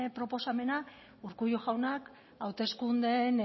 proposamena urkullu jaunak hauteskundeen